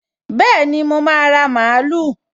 Bẹ́ẹ̀ni, mo máa ra mààúlù